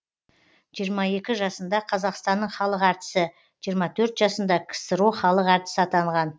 жиырма екі жасында қазақстанның халық әртісі жиырма төрт жасында ксро халық әртісі атанған